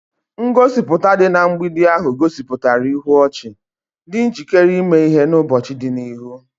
Ngosipụta dị na mgbidi ahụ gosipụtara ihu ọchị, dị njikere ime ihe n'ụbọchị dị n'ihu.